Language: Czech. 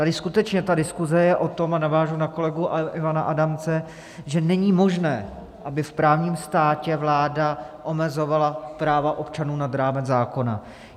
Tady skutečně ta diskuze jej o tom - a navážu na kolegu Ivana Adamce - že není možné, aby v právním státě vláda omezovala práva občanů nad rámec zákona.